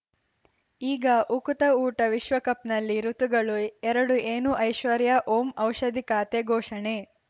ಈಗ ಉಕುತ ಊಟ ವಿಶ್ವಕಪ್‌ನಲ್ಲಿ ಋತುಗಳು ಎರಡು ಏನು ಐಶ್ವರ್ಯಾ ಓಂ ಔಷಧಿ ಖಾತೆ ಘೋಷಣೆ